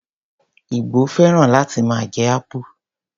Igbo féràn láti máa jẹ akpu.